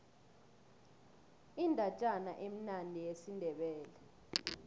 indatjana emnandi yesindebele